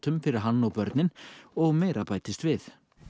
fyrir hann og börnin og meira bætist við